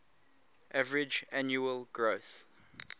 average annual growth